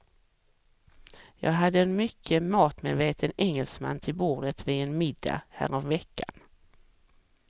Jag hade en mycket matmedveten engelsman till bordet vid en middag häromveckan.